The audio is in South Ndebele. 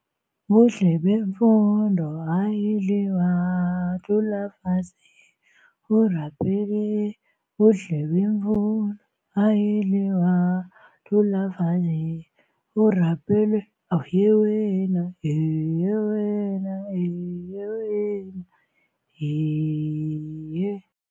Buhle bemfundo ayidliwa, thula mfazi u-rapele, buhle bemfundo ayidliwa, thula mfazi u-rapele yewena yewena yewena